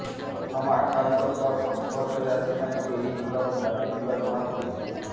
ପ୍ରଥମ ଆକ୍ରାନ୍ତଙ୍କ ସଂସ୍ପର୍ଶରେ ଆସି ତାଙ୍କୁ ଏହି ଭୂତାଣୁ ବ୍ୟାପିଥିବା ଜଣାପଡ଼ିଛି